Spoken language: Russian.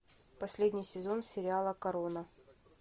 последний сезон сериала корона